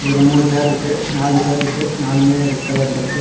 ஒன்னு மூணு சேர்ருக்கு நாலு சேர்ருக்கு நாளுமே ரெட் கலர்லிருக்கு .